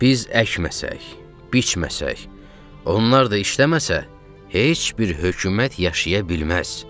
Biz əkməsək, biçməsək, onlar da işləməsə heç bir hökumət yaşaya bilməz.